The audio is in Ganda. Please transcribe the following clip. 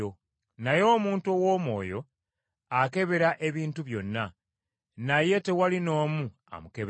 Naye omuntu ow’Omwoyo akebera ebintu byonna, naye tewali n’omu amukebera.